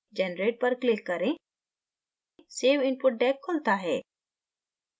generate पर click करें save input deck खुलता है